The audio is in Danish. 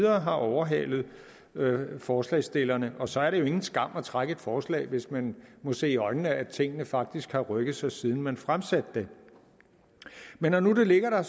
har overhalet forslagsstillerne og så er det jo ingen skam at trække et forslag hvis man må se i øjnene at tingene faktisk har rykket sig siden man fremsatte det men når nu det ligger der